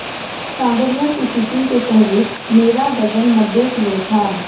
सांवरिया की शूटिंग के पहले मेरा वजन नब्बे किलो था